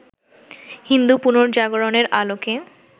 হিন্দু পুনর্জাগরণের আলোকে